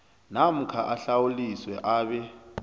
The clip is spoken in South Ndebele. namkha ahlawuliswe abe